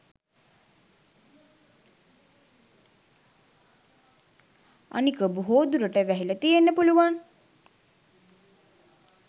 අනික බොහෝ දුරට වැහිල තියෙන්න පුළුවන්